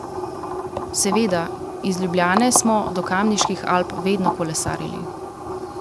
Seveda, iz Ljubljane smo do Kamniških Alp vedno kolesarili.